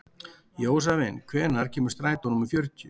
Jósavin, hvenær kemur strætó númer fjörutíu?